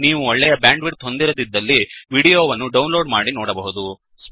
ನೀವು ಒಳ್ಳೆಯ ಬ್ಯಾಂಡ್ವಿಿಡ್ತ್ ಹೊಂದಿರದಿದ್ದಲ್ಲಿ ವಿಡಿಯೋ ವನ್ನು ಡೌನ್ಲೋhಡ್ ಮಾಡಿ ನೋಡಬಹುದು